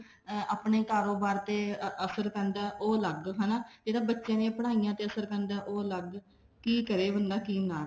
ਆਪਣੇ ਕਾਰੋਬਾਰ ਤੇ ਅਸਰ ਪੈਂਦਾ ਉਹ ਅਲੱਗ ਹਨਾ ਜਿਹੜਾ ਬੱਚੇ ਦੀਆਂ ਪੜਾਈਆਂ ਤੇ ਅਸਰ ਪੈਂਦਾ ਉਹ ਅਲੱਗ ਕੀ ਕਰੇ ਬੰਦਾ ਕੀ ਨਾ ਕਰੇ